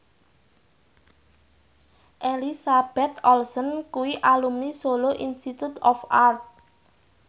Elizabeth Olsen kuwi alumni Solo Institute of Art